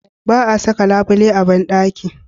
Ba a saka labule a banɗaki